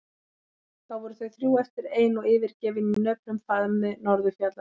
Þá voru þau þrjú eftir ein og yfirgefin í nöprum faðmi norðurfjallanna.